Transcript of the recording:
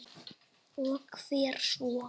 Og hvert svo?